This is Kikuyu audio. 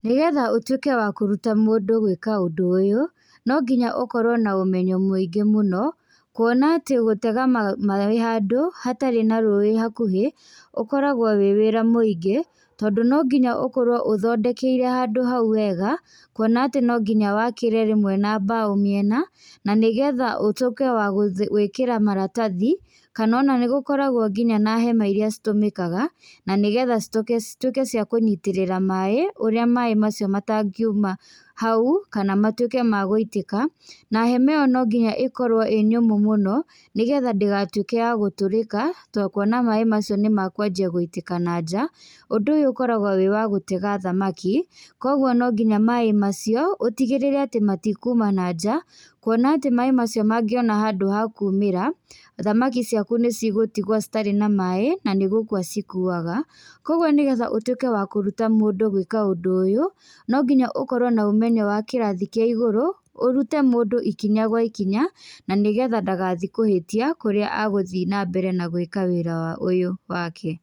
Nĩgetha ũtuĩke wa kũruta mũndũ gũika ũndũ uyũ, nonginya ũkorwo na ũmenyo mũingi mũno, kuona atĩ gũtega ma maĩ handũ, hatarĩ na rũĩ hakuhĩ, ũkoragwo wĩ wĩra mũingĩ, tondũ nonginya ũkorwo ũthondekeire handũ hau wega, kuona atĩ no nginya wakĩre rĩmwe na mbaũ mĩena, na nĩgetha ũtuĩke wa gũ gũĩkĩra maratathi, kana ona nĩgũkoragwo nginya na hema iria citũmĩkaga, na nĩgetha cituke cituĩke cia kũnyitĩrĩra maĩ, ũrĩa maĩ macio matangiuma hau, kana matuĩke ma gũitĩka, na hema ĩyo no nginya ĩkorwo ĩ nyũmũ mũno, nĩgetha ndĩgatuĩke ya gũtũrĩka, to kuona maĩ macio nĩmakwanjia gũitĩka na nja, ũndũ ũyũ ũkoragwo wĩ wa gũtega thamaki, koguo no nginya maĩ macio ũtigĩrĩre atĩ matikuma nanja kuona atĩ maĩ macio mangĩonera handũ ha kumĩra, thamaki ciaku nĩ cigũtigwo citarĩ na maĩ, na nĩgũkua cikuaga. Koguo nĩgetha ũtuĩke wa kũruta mũndũ gwĩka ũndũ ũyũ, no nginya ũkorwo na ũmenyo wa kĩrathi kia igũrũ, ũrute mũndũ ikinya gwa ikinya, na nĩgetha ndagathiĩ kũhĩtia kũrĩa agũthiĩ na mbere gwĩka wĩra ũyũ wake.